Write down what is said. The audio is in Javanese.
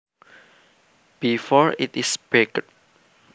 before it is baked